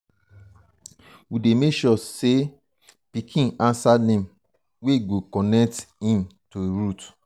we dey make sure sey um um pikin um answer name wey go connect um to im root.